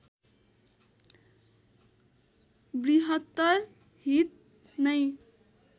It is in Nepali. बृहत्तर हित नै